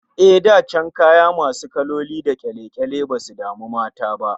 Eh, da kaya masu kaloli da kyale-kyale basu damu mata ba